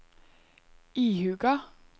ihuga